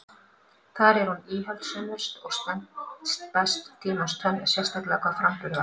Þar er hún íhaldssömust og stenst best tímans tönn, sérstaklega hvað framburð varðar.